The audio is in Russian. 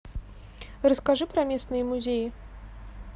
расскажи про местные музеи